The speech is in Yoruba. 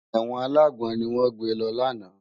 Èwòn àlágbòn niwòn gbé lò làná